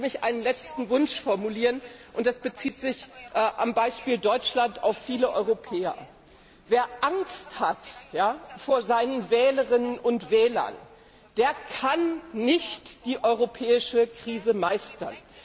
Lassen Sie mich einen letzten Wunsch formulieren, und der bezieht sich am Beispiel Deutschlands auf viele Europäer Wer Angst hat vor seinen Wählerinnen und Wählern, der kann nicht die europäische Krise meistern.